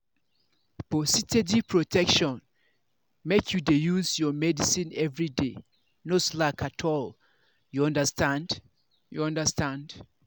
for steady protection make you dey use your medicine everyday no slack at all. you understand. you understand.